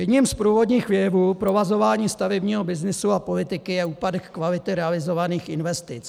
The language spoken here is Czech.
Jedním z průvodních jevů provazování stavebního byznysu a politiky je úpadek kvality realizovaných investic.